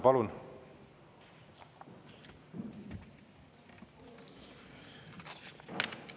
Palun!